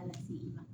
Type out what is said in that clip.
Ala seginna